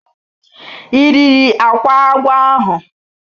I riri akwa agwọ ahu?